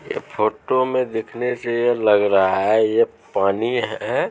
ऐ फोटो में देखने से यह लग रहा है ये पानी है।